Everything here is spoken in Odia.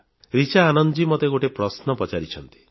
ରିଚା ଆନନ୍ଦଜୀ ମୋତେ ଗୋଟିଏ ପ୍ରଶ୍ନ ପଚାରିଛନ୍ତି